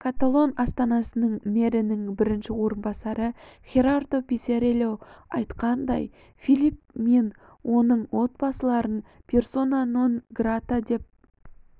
каталон астанасының мэрінің бірінші орынбасары херардо писарельо айтқандай филипп мен оның отбасыларын персона нон грата деп